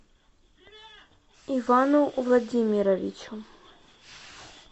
ивану владимировичу